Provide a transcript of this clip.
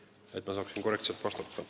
Seda selleks, et ma saaksin korrektselt vastata.